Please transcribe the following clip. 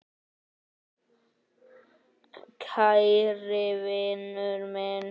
Kæri vinur minn.